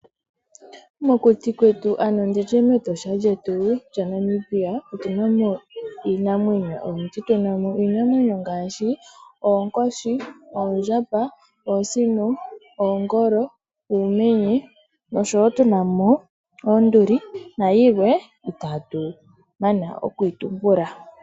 Mokuti kwetu ano nditye mEtosha lyetu lya Namibia otuna mo iinamwenyo oyindji. Tuna mo iinamwenyo ngaashi oonkoshi, oondjamba, oosino, oongolo, uumenye noshowo tuna mo oonduli nayilwe itaatu mana oku yi tumbula.